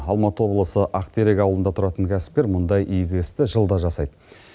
алматы облысы ақтерек ауылында түратын кәсіпкер мұндай игі істі жылда жасайды